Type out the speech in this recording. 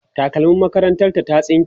takalmim makarantar ta ta tsinke